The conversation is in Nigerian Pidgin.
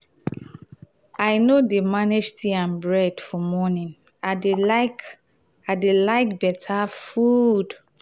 i no dey manage tea and bread for morning i dey like i dey like beta food.